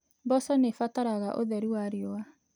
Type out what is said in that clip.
Mboco nĩ ibataraga ũtheri wa riũa.